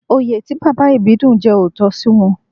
Oyè tí Bàbá Ìbídùn jẹ ò tọ́ sí wọn